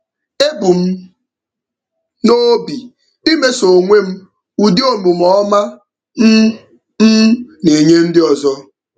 Ebu m n'obi imeso onwe m ụdị omume ọma m m na-enye ndị ọzọ.